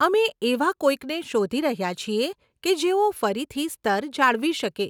અમે એવાં કોઈકને શોધી રહ્યાં છીએ કે જેઓ ફરીથી સ્તર જાળવી શકે.